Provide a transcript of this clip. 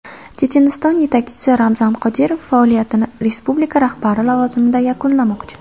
Checheniston yetakchisi Ramzan Qodirov faoliyatini respublika rahbari lavozimida yakunlamoqchi.